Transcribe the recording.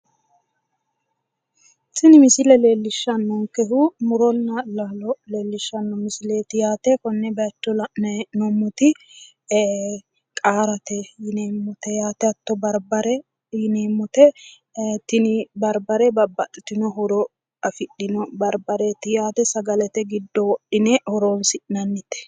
Tini misile leellishshannonkehu muronna laalo leellishshanno misileeti yaate. Konne mine la'nayi hee'noommoti qaarate yineemmote yaate. Hatto barbare yineemmote. Tini barbare babbaxxitino horo afidhino barbareeti yaate sagalete giddo wodhine horoonsi'nannite.